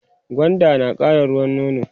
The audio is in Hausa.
gwanda nakara ruwan nono